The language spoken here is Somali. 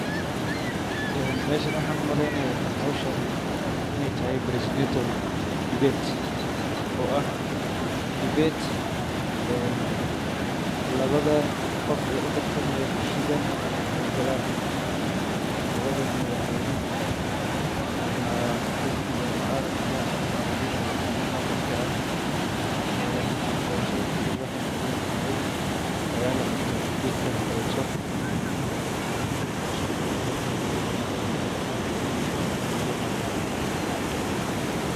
Een meeshana waxaan u malaynayaa hawshan inay tahay presidential debate oo ah debate een labada qof ee u tartamaya kursiga ay galaan labada madaxweyne ama xisbiga mucaaradka ama haddii kale kan muxaafadka ah een doorashada markii waxay ka dhiman tahay ayaa la qabtaa dhibeedkan oo kaleto een howshan waan umaleynaya debate ina tahay oo presidential debate ah.